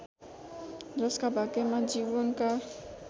जसका भाग्यमा जीवनका